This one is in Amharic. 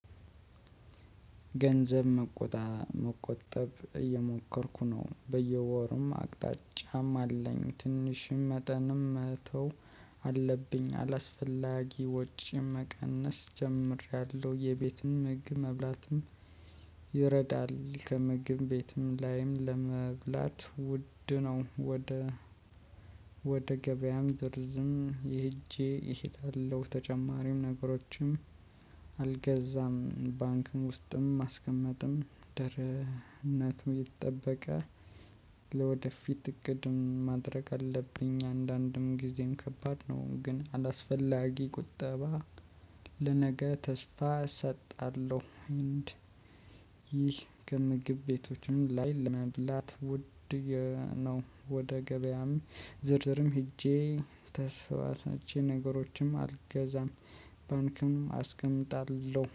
ገንዘብ መቆጣ መቆጠብ እየሞከርኩ ነው በየወሩም አቅጣጫም አለኝ ትንሽም መጠንም መተው አለብኝ አላስፈላጊ ወጭ መቀነስ ጀምሬያለሁ የቤትም ምግብ መብላትም ይረዳል ከምግብ ቤትም ላይም ለመብላት ውድ ነው። ወደ ወደ ገበያም ይደርዝም ይሄጄ እሄዳለሁ። ተጨማሪም ነገሮችም አልገዛም ባንክም ውስጥም ማስቀመጥም ደህነቱ ይጠበቃል። ለወደፊት እቅድም ማድረግ አለብኝ አንዳንድም ጊዜም ከባድ ነው ግን አላስፈላጊ ቁጠባ ለነገ ተስፋ እሰጣለሁ። ይህ ከምግብ ቤቶችም ላይ ለመብላት ውድ ነው። ወደ ገበያም ዝርዝርም ሄጄ ተስፋታችን ነገሮችም አልገዛም ባንክም አስቀምጣለሁ